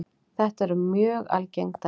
Þetta eru mjög algeng dæmi.